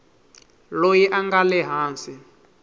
loyi a nga le hansi